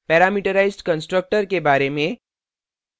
parametrized constructor के बारे में